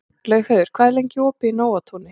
Laugheiður, hvað er lengi opið í Nóatúni?